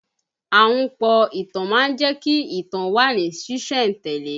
Ahunpọ̀ ìtàn má ń jẹ́ kí ìtàn ó wà ní sìsẹ̀ntele